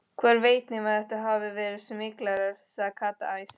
Hver veit nema þetta hafi verið smyglarar, sagði Kata æst.